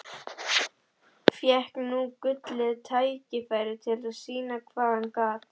Fékk nú gullið tækifæri til að sýna hvað hann gat.